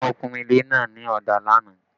The painting of the building was done yesterday